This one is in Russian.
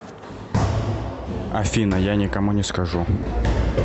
афина я никому не скажу